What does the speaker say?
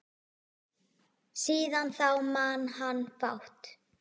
Síðan þá man hann fátt.